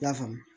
I y'a faamu